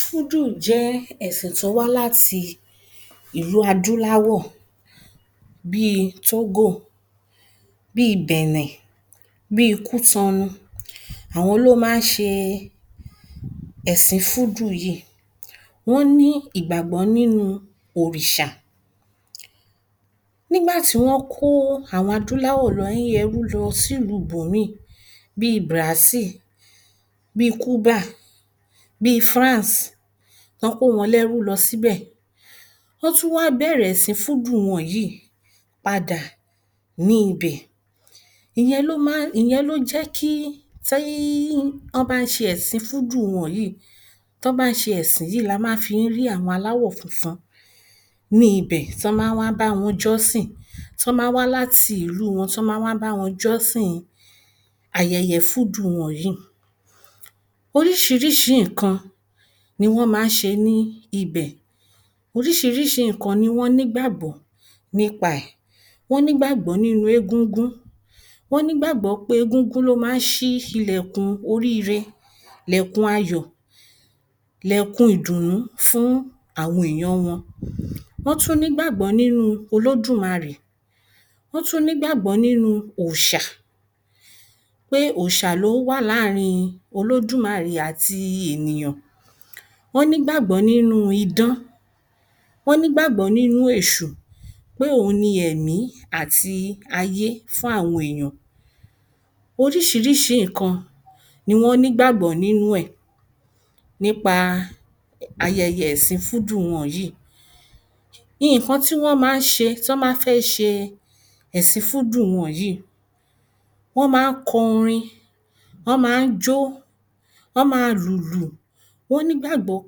Fúdù jẹ́ ẹ̀sìn tó wá láti ìlú adúláwọ̀ bí i Tógò, bí i Bẹ̀nẹ̀, bí i Kútọnu, àwọn ló máa ń ṣe ẹsìn Fúdù yìí, wón ní ìgbàgbọ́ nínú òrìṣà. Nígbà tí wọ́n kó àwọn adúnláwò ní ẹrú lọ sí ìlú ibòmíì bí i Bràsil, bíi Kúbà, bíi France tó kó wọn lẹ́rú lọ sí bẹ̀, wọ́n tún wá bẹ̀rẹ̀ sí Fúdù wọn yìí padà ní ibẹ̀, ìyẹn ló máa ń, ìyẹn ló jẹ́ kí tí um wọ́n bá ń ṣe ẹ̀sìn Fúdù wọn yìí, tí wọ́n bá ṣe ẹ̀sìn yìí la máa fi ń rí àwọn aláwọ̀ funfun ní ibẹ̀ tí wọ́n máa ń wá bá wọn jọ́sìn, tí wọ́n máa ń wá láti ìlú wọn, tí wọ́n máa ń bá wọn jọ́sìn ayẹyẹ Fúdù wọn yìí. Oríṣiríṣi nǹkan ni wọ́n máa ń ṣe ní ibẹ̀, oríṣiríṣi nǹkan ni wọ́n nígbàgbọ́ nípa ẹ̀, wọ́n nígbàgbọ́ nínú egúngún, wọ́n nìgbàgbọ́ pé egúngún ló máa ń ṣí ílẹ̀kùn oríire, lẹ̀kùn ayọ̀, lẹ̀kùn ìdùnú fún àwọn èyàn wọn. Wón tún nígbàgbọ́ nínú Olódùmarẹ̀, wón tún nígbàgbọ́ nínú òòṣà, pé òòṣà ló wà láàrin olódùmarẹ̀ àti ènìyàn, wọ́n nígbàgbọ́ nínú idán, wọ́n nígbàgbọ́ níńu èṣù pé òun ni ẹ̀mí àti ayé fún àwọn èyàn. Oríṣiríṣi nǹkan ni wọ́n nígbàgbọ́ nínú ẹ̀ nípa ayẹyẹ ẹ̀sìn Fúdù wọn yìí. Nǹkan tí wón máa ń ṣe tí wọ́n bá fẹ́ ṣe ẹ̀sìn fúdù wọn yìí, wọn máa ń kọ orin, wọ́n máa ń jọ́, wón máa lùlù, wọ́n nígbàgbọ́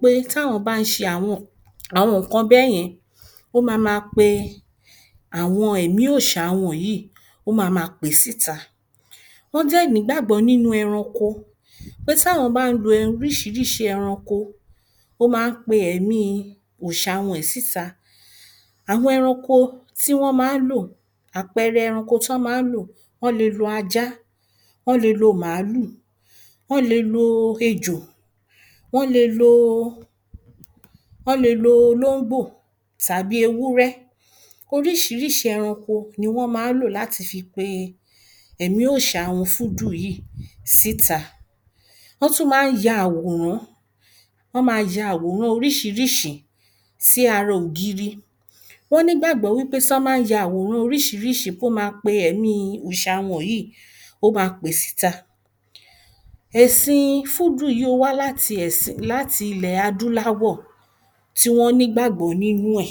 pé tí àwọn bá ń ṣe àwọn um àwọn nǹkan báyẹn, ó máa má pe àwọn ẹ̀mí òòṣà wọ̀nyí ó máa má pè é síta. Wọ́n dẹ̀ nígbàgbọ́ nínú ẹranko, pé tí àwọn bá ń lo oríṣiríṣi ẹranko, ó máa ń pe ẹ̀ẹ̀mi òòṣà wọn yìí síta. Àwọn ẹranko tí wọ́n máa ń lò, àpẹẹrẹ ẹranko tí wọ́n máa ń lò, wọ́n le lo ajá, wọ́n le lo màálù, wọ́n le lo ejò, wọ́n le lo wọ́n le lo olóńgbò tàbí ewùrẹ̀. Oríṣiríṣi ẹranko ni wọ́n máa ń lò láti fi pe ẹ̀mí òòṣà wón Fúdù yìí síta. Wọ́n tún máa ń ya àwòrán, wón máa ya àwòrán oríṣiríṣi sí ara ògiri, wọ́n nígbàgbọ́ pé wípé tí àwọn bá ń ya àwọn oríṣiríṣi pé ó máa ń pe ẹ̀mí òòṣà wọn yìí, pé ó máa pè é síta. Ẹ̀sìn Fúdù yìí ó wá láti ẹ̀sìn, láti ilẹ̀ adúnláwọ̀ tí wọ́n nígbàgbọ́ nínú ẹ̀